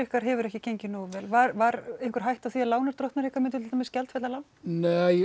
hefur ekki gengið nógu vel var einhver hætta á því að lánardrottnar ykkar myndu gjaldfella lán nei